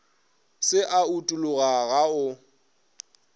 se a utologa go a